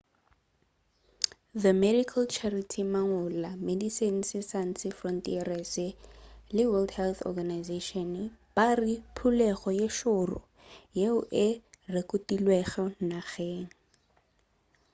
the medical charity mangola medecines sans frontieres le world health organisation ba re ke phulego ye šoro yeo e rekotilwego nageng